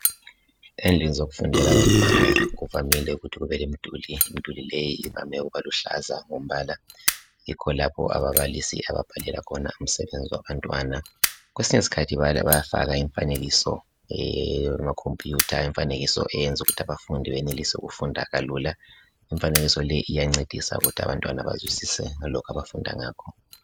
endlini zokufundela abantwana kuvamile ukuthi kube lemduli imduli leyi iluhlaza ngombala yikho lapho ababalisi ababhalela khona umsebenzi wabantwana kwesinye isikhathi bayafaka imfanekiso eyama computer imfanekiso eyenza ukuthi abafundi benelise ukufundakalula imfanekiso le iyancedisa ukuthi abantwana bazwisise ngalokhu abafunda ngakho